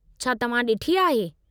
छा तव्हां ॾिठी आहे?